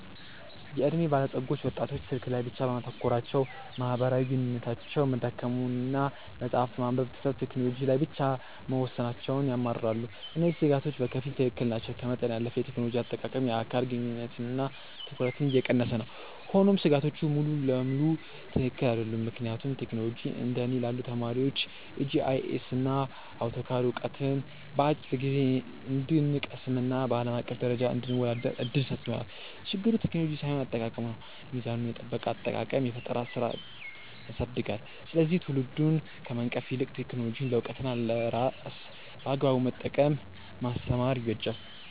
የዕድሜ ባለጸጎች ወጣቶች ስልክ ላይ ብቻ በማተኮራቸው ማህበራዊ ግንኙነታቸው መዳከሙንና መጽሐፍት ማንበብ ትተው ቴክኖሎጂ ላይ ብቻ መወሰናቸውን ያማርራሉ። እነዚህ ስጋቶች በከፊል ትክክል ናቸው፤ ከመጠን ያለፈ የቴክኖሎጂ አጠቃቀም የአካል ግንኙነትንና ትኩረትን እየቀነሰ ነው። ሆኖም ስጋቶቹ ሙሉ በሙሉ ትክክል አይደሉም፤ ምክንያቱም ቴክኖሎጂ እንደ እኔ ላሉ ተማሪዎች የጂአይኤስና አውቶካድ ዕውቀትን በአጭር ጊዜ እንድንቀስምና በአለም አቀፍ ደረጃ እንድንወዳደር እድል ሰጥቶናል። ችግሩ ቴክኖሎጂው ሳይሆን አጠቃቀሙ ነው። ሚዛኑን የጠበቀ አጠቃቀም የፈጠራ ስራን ያሳድጋል፤ ስለዚህ ትውልዱን ከመንቀፍ ይልቅ ቴክኖሎጂን ለዕውቀትና ለስራ በአግባቡ መጠቀምን ማስተማር ይበጃል።